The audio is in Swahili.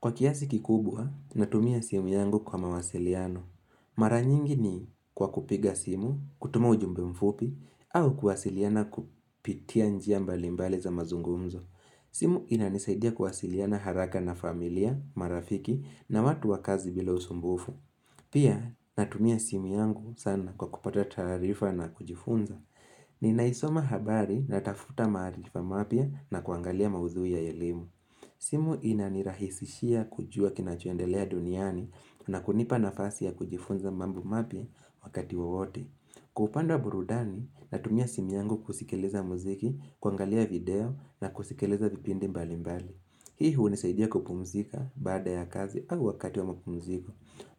Kwa kiasi kikubwa, natumia simu yangu kwa mawasiliano. Mara nyingi ni kwa kupiga simu, kutuma ujumbe mfupi, au kuwasiliana kupitia njia mbalimbali za mazungumzo. Simu inanisaidia kuwasiliana haraka na familia, marafiki na watu wa kazi bila usumbufu. Pia, natumia simu yangu sana kwa kupata tarifa na kujifunza. Ninaisoma habari na tafuta maarifa mapya na kuangalia maudhui ya elimu. Simu ina nirahisishia kujua kinachoendelea duniani na kunipa nafasi ya kujifunza mambo mapya wakati wowote Kwa upande wa burudani natumia simu yangu kusikileza muziki, kuangalia video na kusikileza vipindi mbali mbali Hii hunisaidia kupumzika baada ya kazi au wakati wa mapumziko